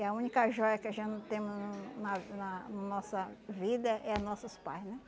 É a única joia que a gente temos no na na nossa vida é nossos pais, né?